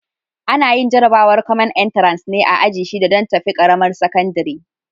Ana yin jarabawar kwamen intares ne a aji shida don tafi ƙaramar sakandire.